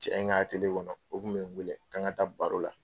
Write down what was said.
Cɛ in ka kɔnɔ o kun bɛ n weele k'an ka taa baro la.